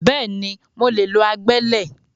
Bẹ́ẹ̀ni, mo lè lo agbẹ́lẹ̀